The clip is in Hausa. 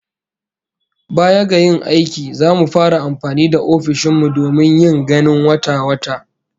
Baya ga yin aiki, zamu fara amfani da ofishin mu domin yin ganin wata-wata